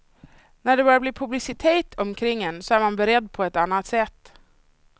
När det börjar bli publicitet omkring en så är man beredd på ett annat sätt.